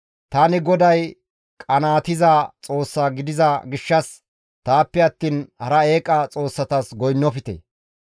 Tani GODAY qanaatiza Xoossa gidiza gishshas taappe attiin hara eeqa xoossatas goynnofte.